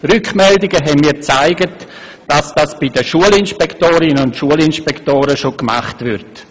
Rückmeldungen haben mir gezeigt, dass dies bei den Schulinspektorinnen und Schulinspektoren bereits gemacht wird.